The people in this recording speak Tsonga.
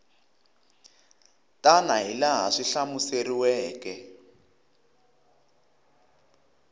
tana hi laha swi hlamuseriweke